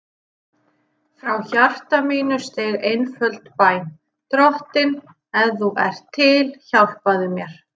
Frá hjarta mínu steig einföld bæn: Drottinn, ef þú ert til, hjálpaðu mér.